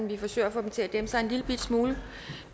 vi forsøger at få dem til at dæmpe sig en lillebitte smule